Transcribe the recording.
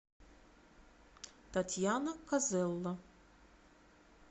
татьяна козелло